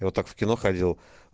я вот так в кино ходил